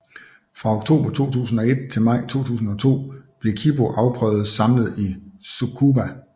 Fra oktober 2001 til maj 2002 blev Kibō afprøvet samlet i Tsukuba